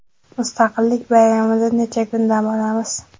Mustaqillik bayramida necha kun dam olamiz?.